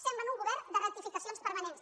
semblen un govern de rectificacions permanents